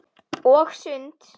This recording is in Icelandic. Og sund.